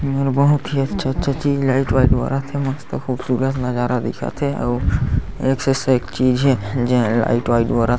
बहुत ही अच्छा-अच्छा चीज लाइट बाइट बरत हे मस्त खूबसूरत नजारा दिखत हे अउ एक से एक चीज हे जेन लाइट वाइट बरत हे।